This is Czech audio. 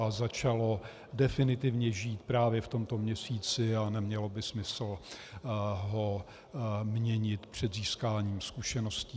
A začalo definitivně žít právě v tomto měsíci a nemělo by smysl ho měnit před získáním zkušeností.